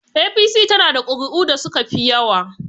APC is having the highest vote